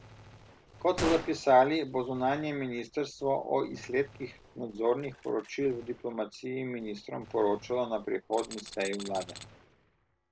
Kot so zapisali, bo zunanje ministrstvo o izsledkih nadzornih poročil v diplomaciji ministrom poročalo na prihodnji seji vlade.